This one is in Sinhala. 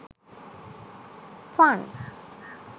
funs